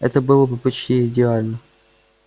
это было бы почти идеально